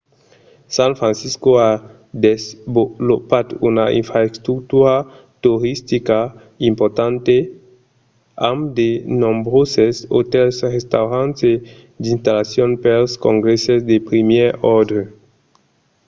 san francisco a desvolopat una infrastructura toristica importanta amb de nombroses otèls restaurants e d'installacions pels congrèsses de primièr òrdre